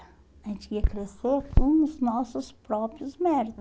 A gente ia crescer com os nossos próprios